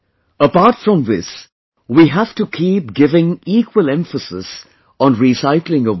Apart from this, we have to keep giving equal emphasis on recycling of water